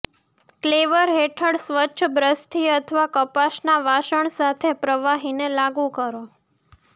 ક્લેવર હેઠળ સ્વચ્છ બ્રશથી અથવા કપાસના વાસણ સાથે પ્રવાહીને લાગુ કરો